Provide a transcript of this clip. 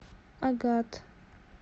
агат